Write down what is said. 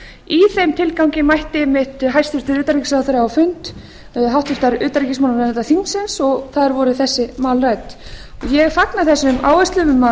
í þeim tilgangi mætti einmitt hæstvirts utanríkisráðherra á fund háttvirtrar utanríkismálanefndar þingsins og þar voru þessi mál rædd ég fagna þessum áherslum um að